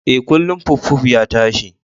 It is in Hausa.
E, kullun puffpuff ya tashi.